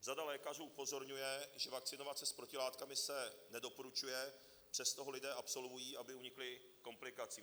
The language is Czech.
Řada lékařů upozorňuje, že vakcinovat se s protilátkami se nedoporučuje, přesto ho lidé absolvují, aby unikli komplikacím.